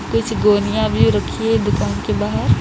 कुछ गोनिया भी रखी हैं दुकान के बाहर।